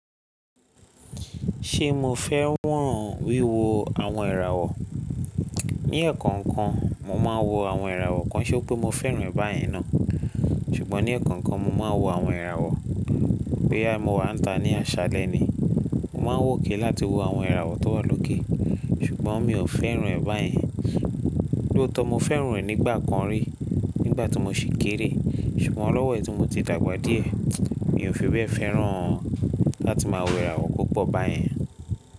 Ṣé mo fẹ́ràn wíwo àwọn ìràwọ̀? Ní ẹ̀ẹ̀kan kan, mo máa ń wo àwọn ìràwọ̀, kí ń ṣé pé mo fẹ́ràn rẹ̀ báyẹn ná. Ṣùgbọ́n ní ẹ̀ẹ̀kan kan mo máa ń wo àwọn ìràwọ̀, pé à mo wà níta ní àṣálẹ́ ni. Mo máa ń wòkè láti wo àwọn ìràwọ̀ tó wà lókè. Ṣùgbọ́n mi ò fẹ́ràn rẹ̀ báyẹn. Lóòótọ́ mo fẹ́ràn rẹ̀ nígbà kan rí, nígbà tí mo ṣì kéré. Ṣùgbọ́n lọ́wọ́ ẹ tí mo ti dàgbà díẹ̀, mi ò fi bẹ́ fẹ́ràn láti máa wo ìràwọ̀ púpọ̀ báyẹn.